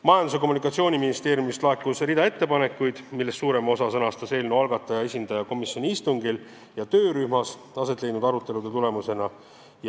Majandus- ja Kommunikatsiooniministeeriumist laekus hulk ettepanekuid, millest suurema osa sõnastas eelnõu algataja esindaja komisjoni istungil ja töörühmas aset leidnud arutelude tulemusena.